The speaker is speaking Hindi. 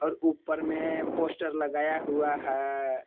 और ऊपर में पोस्टर लगाया हुआ है।